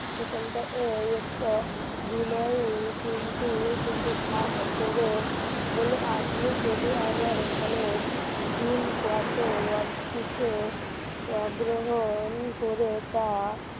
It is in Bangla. বিনয়ের তিনটি কিন্তু ভাব করে বলে আপনি যদি আমার এখানে দিন কত ওয়াজ্জিত অগ্রহণ করে তা